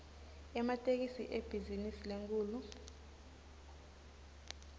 ematekisi ibhizinisi lenkhulu